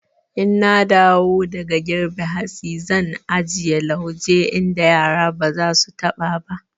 In na dawo daga girbe hatsi zan ajiye lauje inda yara ba za su taɓa ba.